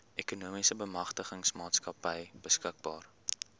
ekonomiese bemagtigingsmaatskappy beskikbaar